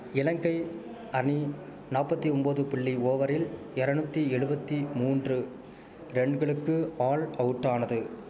இலங்கை அணி நாப்பத்தி ஒம்போது புள்ளி ஓவரில் எரநூத்தி எழுவத்தி மூன்று ரன்களுக்கு ஆல் அவுட்டானது